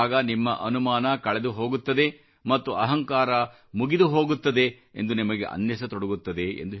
ಆಗ ನಿಮ್ಮ ಅನುಮಾನ ಕಳೆದು ಹೋಗುತ್ತಿದೆ ಮತ್ತು ಅಹಂಕಾರ ಮುಗಿದುಹೋಗುತ್ತಿದೆ ಎಂದು ನಿಮಗೆ ಅನ್ನಿಸತೊಡಗುತ್ತದೆ